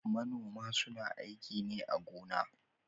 Manoma su na aiki ne a gona